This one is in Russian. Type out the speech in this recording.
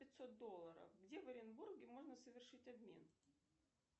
пятьсот долларов где в оренбурге можно совершить обмен